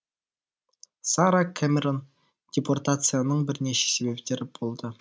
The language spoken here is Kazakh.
сара кэмерон депортацияның бірнеше себептері болды